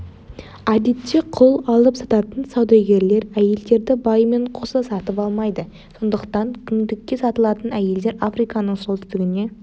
әдетте құл алып сататын саудагерлер әйелдерді байымен қоса сатып алмайды сондықтан күңдікке сатылатын әйелдер африканың солтүстігіне